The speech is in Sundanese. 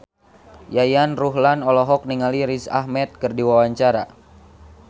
Yayan Ruhlan olohok ningali Riz Ahmed keur diwawancara